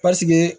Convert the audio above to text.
Pasike